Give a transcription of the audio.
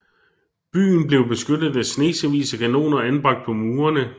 Byen blev beskyttet af snesevis af kanoner anbragt på murene